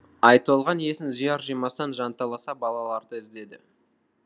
айтолған есін жияр жимастан жанталаса балаларды іздеді